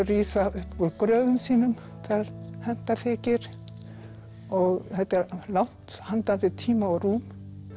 rísa upp úr gröfum sínum þegar henta þykir og þetta langt handan við tíma og rúm